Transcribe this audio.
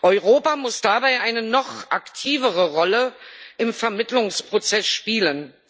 Europa muss dabei eine noch aktivere Rolle im Vermittlungsprozess spielen.